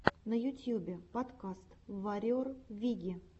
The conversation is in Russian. на ютьюбе подкаст варриор виги